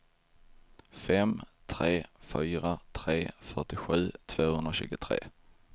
fem tre fyra tre fyrtiosju tvåhundratjugotre